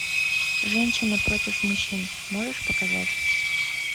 женщины против мужчин можешь показать